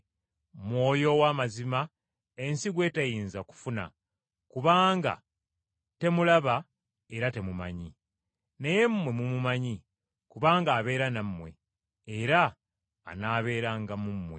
Mwoyo ow’Amazima ensi gwe teyinza kufuna, kubanga temulaba era temumanyi. Naye mmwe mumumanyi kubanga abeera nammwe, era anaabeeranga mu mmwe.